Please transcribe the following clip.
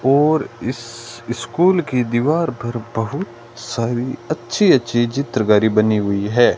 और इस स्कूल की दीवार पर बहुत सारी अच्छी अच्छी चित्रकारी बनी हुई है।